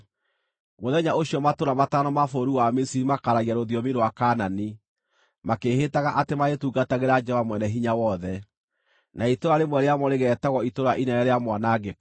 Mũthenya ũcio matũũra matano ma bũrũri wa Misiri makaaragia rũthiomi rwa Kaanani, makĩĩhĩtaga atĩ marĩtungatagĩra Jehova Mwene-Hinya-Wothe. Na itũũra rĩmwe rĩamo rĩgeetagwo Itũũra Inene rĩa Mwanangĩko.